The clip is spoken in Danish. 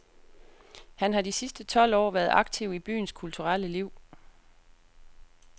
Han har de sidste tolv år været aktiv i byens kulturelle liv.